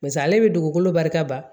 Paseke ale bɛ dugukolo barika ban